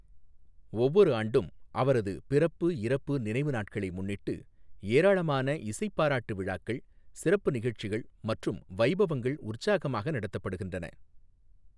ஒவ்வொரு ஆண்டும் அவரது பிறப்பு, இறப்பு நினைவு நாட்களை முன்னிட்டு ஏராளமான இசைப் பாராட்டு விழாக்கள், சிறப்பு நிகழ்ச்சிகள் மற்றும் வைபவங்கள் உற்சாகமாக நடத்தப்படுகின்றன.